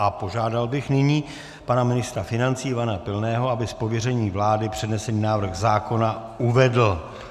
A požádal bych nyní pana ministra financí Ivana Pilného, aby z pověření vlády přednesený návrh zákona uvedl.